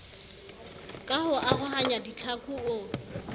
ka ho arohanya ditlhaku o